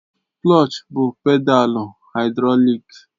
Klọch bụ pedalu haịdrọlik